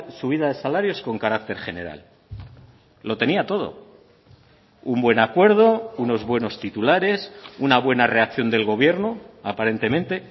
subida de salarios con carácter general lo tenía todo un buen acuerdo unos buenos titulares una buena reacción del gobierno aparentemente